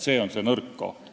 See on see nõrk koht.